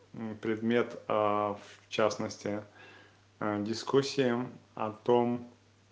предмет а в частности дискуссия о том